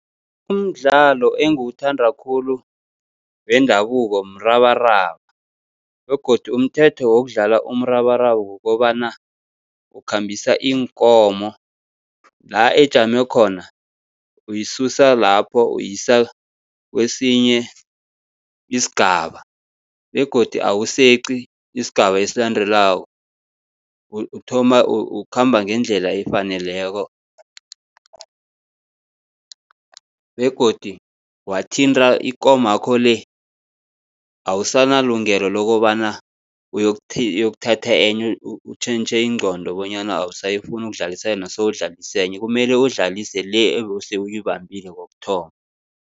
Umdlalo engiwuthanda khulu wendabuko mrabaraba begodu umthetho wokudlala umrabaraba kukobana, ukhambisa iinkomo la ejame khona uyisusa lapho uyisa kwesinye isigaba. Begodu awuseqi isigaba esilandelako, uthoma ukhamba ngendlela efaneleko begodu wathinta ikomakho le, awusanalungelo lokobana uyokuthatha enye utjhentjhe ingqondo, bonyana awusafuni ukudlulisa yona sewudlalisa enye, kumele udlalise le ebese uyibambile kokuthoma.